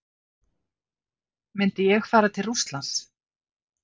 Myndi ég fara til Rússlands?